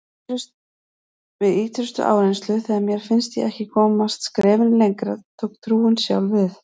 Við ýtrustu áreynslu, þegar mér fannst ég ekki komast skrefinu lengra, tók trúin sjálf við.